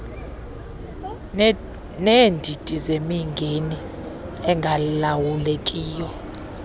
neendidi zemingeni engalawulekiyo